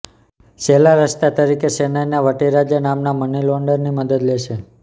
છેલ્લા રસ્તા તરીકે તે ચેન્નઈના વટી રાજા નામના મની લોન્ડરની મદદ લે છે